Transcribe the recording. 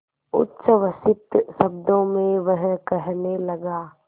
उच्छ्वसित शब्दों में वह कहने लगा